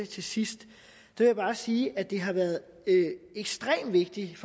til sidst bare sige at det har været ekstremt vigtigt